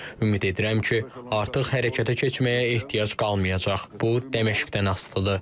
Ümid edirəm ki, artıq hərəkətə keçməyə ehtiyac qalmayacaq, bu Dəməşqdən asılıdır.